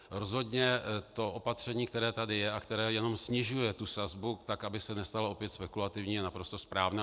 Rozhodně to opatření, které tady je a které jenom snižuje tu sazbu, tak aby se nestalo opět spekulativní, je naprosto správné.